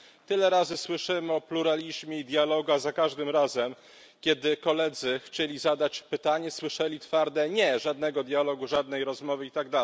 Tyle razy słyszymy o pluralizmie i dialogu, a za każdym razem, kiedy koledzy chcieli zadać pytanie, słyszeli twarde nie żadnego dialogu, żadnej rozmowy itd.